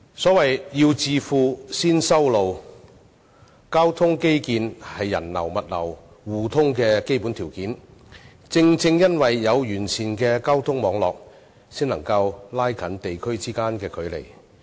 所謂"要致富，先修路"，交通基建是人流、物流互通的基本條件，而正正因為有完善的交通網絡，才能夠拉近地區之間的距離。